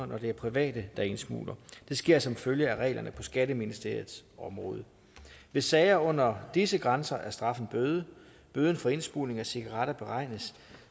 når det er private der indsmugler det sker som følge af reglerne på skatteministeriets område ved sager under disse grænser er straffen bøde bøden for indsmugling af cigaretter beregnes